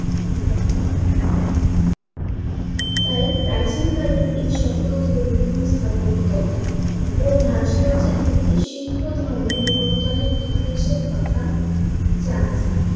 তাই প্রাচীন কালের এই সকল ধর্মীয় স্থাপত্য ও ভাস্কর্য থেকে শিল্প ধর্মের বিবর্তনের ইতিহাসের কথা জানা যায়।